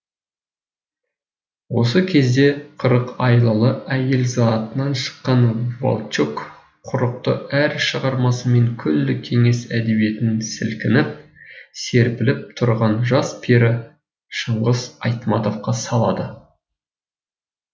осы кезде қырық айлалы әйел затынан шыққан волчек құрықты әр шығармасымен күллі кеңес әдебиетін сілкінтіп серпілтіп тұрған жас пері шыңғыс айтматовқа салады